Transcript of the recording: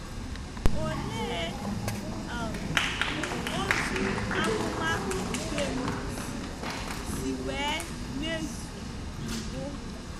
Olee um otú amụma Dubem si si nwee mmezu mbụ?